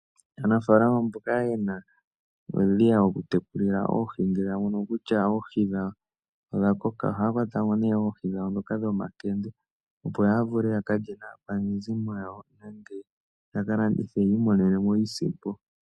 Aanafalama mboka yena uudhiya woku tekulila oohi, ngele ya mono kutya oohi dhawo odha koka, ohaya kwatamo ne oohi dhawo dhoka dhomakende opo ya vule ya ka lye naakwanezimo yawo, nenge ya ka landithe yiimonenemo iisimpo yawo.